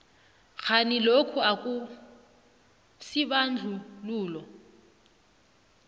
kghani lokhu akusibandlululo